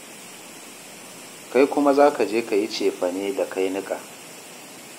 Kai kuma za ka je ka yi cefane da kai niƙa.